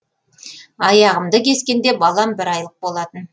аяғымды кескенде балам бір айлық болатын